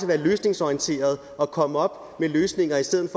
være løsningsorienterede og komme op med løsninger i stedet